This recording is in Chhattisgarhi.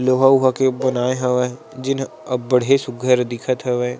लोहा उहा के बनाये हवय जेन ह अब्बडे सुघ्घर दिखत हवय।